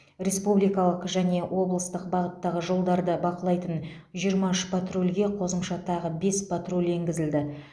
республикалық және облыстық бағыттағы жолдарды бақылайтын жиырма үш патрульге қосымша тағы бес патруль енгізілді